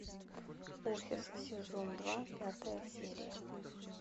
офис сезон два пятая серия